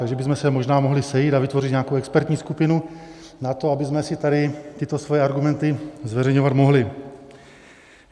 Tak bychom se možná mohli sejít a vytvořit nějakou expertní skupinu na to, abychom si tady tyto svoje argumenty zveřejňovat mohli.